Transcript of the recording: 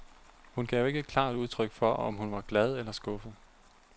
Hun gav ikke klart udtryk for, om hun var glad eller skuffet.